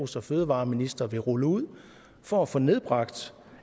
som fødevareminister vil rulle ud for at få nedbragt